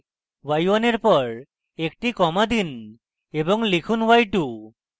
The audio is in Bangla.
y1 এর পর একটি comma দিন এবং লিখুন y2